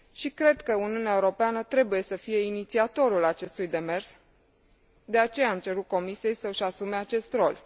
Cred că Uniunea Europeană trebuie să fie inițiatorul acestui demers, de aceea am cerut Comisiei să își asume acest rol.